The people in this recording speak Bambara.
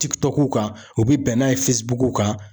Tikitɔkuw kan o be bɛn n'a ye fesibukuw kan